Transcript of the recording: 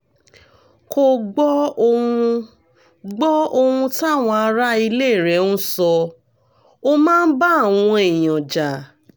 kò gbọ́ ohun gbọ́ ohun táwọn ará ilé rẹ̀ ń sọ ó máa ń bá àwọn èèyàn jà